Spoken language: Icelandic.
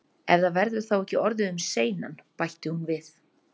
Ef það verður þá ekki orðið um seinan- bætti hún við.